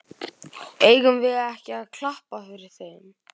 Eigum við ekki að klappa fyrir þeim?